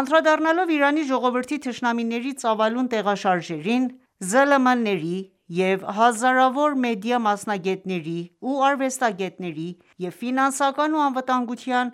Անդրադառնալով Իրանի ժողովրդի թշնամիների ծավալուն տեղաշարժերին՝ ԶԼՄ-ների և հազարավոր մեդիա մասնագետների ու արվեստագետների և ֆինանսական ու անվտանգության